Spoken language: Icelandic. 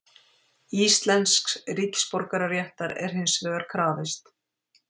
Íslensks ríkisborgararéttar er hins vegar krafist.